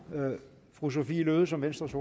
fru sophie løhde som venstres